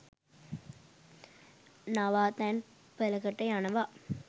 නවාතැන් පලකට යනව